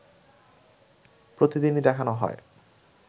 প্রতিদিনই দেখানো হয়